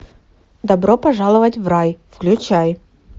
добро пожаловать в рай включай